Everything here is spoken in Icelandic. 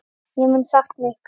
Ég mun sakna ykkar.